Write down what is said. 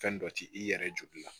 Fɛn dɔ ti i yɛrɛ joli la